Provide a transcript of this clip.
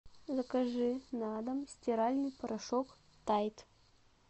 закажи на дом стиральный порошок тайд